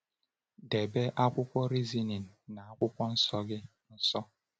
Debe akwụkwọ Reasoning na Akwụkwọ Nsọ gị nso.